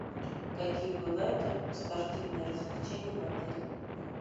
какие бывают спортивные развлечения в отеле